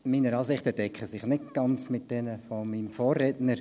Meine Ansichten decken sich nicht ganz mit jenen meines Vorredners.